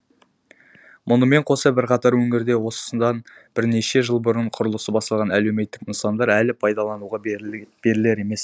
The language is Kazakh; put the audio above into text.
мұнымен қоса бірқатар өңірде осыдан бірнеше жыл бұрын құрылысы басталған әлеуметтік нысандар әлі пайдалануға берілер емес